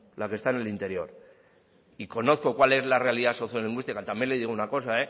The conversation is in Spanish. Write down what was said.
la que está en el interior y conozco cuál es la realidad sociolingüística también le digo una cosa